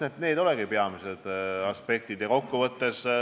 Eks need olegi peamised aspektid.